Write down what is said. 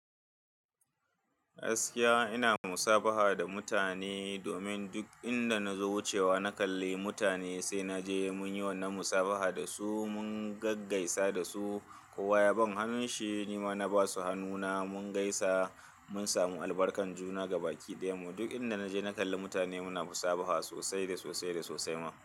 Gaskiya ina musabaha da mutane domin duk inda nazo wucewa na kalli mutane sai naje munyi wannan musabaha dasu mun gaggaisa dasu. Ko waya ban hannun shi nima na basu hannuna mun gaisa mun samu albarkan juna gabaki ɗaya. Mu duk inda naje na kalli mutane muna musabaha sosai da sosai da sosai ma.